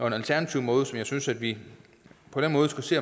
en alternativ måde som jeg synes at vi på den måde skal se